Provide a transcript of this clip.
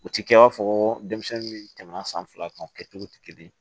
U ti kɛ i b'a fɔ ko denmisɛnnin min tɛmɛna san fila kan o kɛcogo tɛ kelen ye